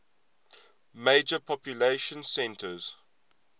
major population centers